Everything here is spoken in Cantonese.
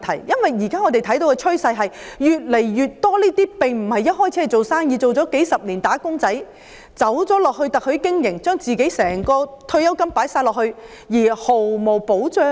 因為現時的趨勢是，越來越多人打工數十年後，轉而加入特許經營，把自己所有退休金放進去，但卻毫無保障。